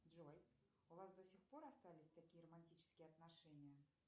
джой у вас до сих пор остались такие романтические отношения